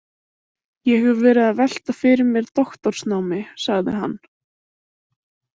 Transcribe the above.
Ég hef verið að velta fyrir mér doktorsnámi, sagði hann.